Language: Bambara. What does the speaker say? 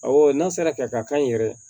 Awɔ n'a sera ka kan yɛrɛ